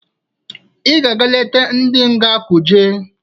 I ga-eje leta ndị nga Kuje!